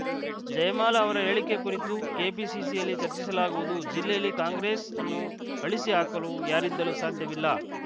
ಜಯಮಾಲಾ ಅವರ ಹೇಳಿಕೆ ಕುರಿತು ಕೆಪಿಸಿಸಿಯಲ್ಲಿ ಚರ್ಚಿಸಲಾಗುವುದು ಜಿಲ್ಲೆಯಲ್ಲಿ ಕಾಂಗ್ರೆಸ್‌ ಅನ್ನು ಅಳಿಸಿ ಹಾಕಲು ಯಾರಿಂದಲೂ ಸಾಧ್ಯವಿಲ್ಲ